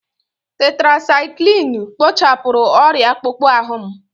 Tetirasaikilinu kpochapụrụ ọrịa akpụkpọ ahụ m.